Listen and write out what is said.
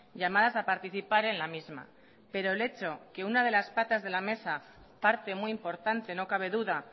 llamadas a participar en la misma pero el hecho que una de las patas de la mesa parte muy importante no cabe duda